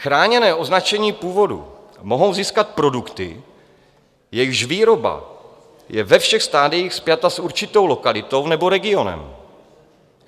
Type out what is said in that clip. Chráněné označení původu mohou získat produkty, jejichž výroba je ve všech stadiích spjata s určitou lokalitou nebo regionem.